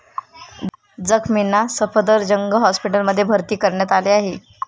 जखमींना सफदरजंग हॉस्पिटलमध्ये भर्ती करण्यात आले आहे.